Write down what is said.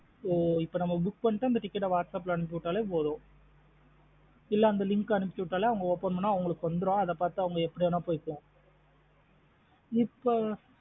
ஒ இப்போ நம்ம book புக் அந்த ticket ஆ whats app லா அனுப்சுவிட்டாலே போதும், இல்ல அந்த link ஆ அனுப்பிவிட்டாலே அவுங்க open பண்ண அவுங்களுக்கு வந்தரும் அவுங்க எப்டி வேணுன போய்க்கலாம்.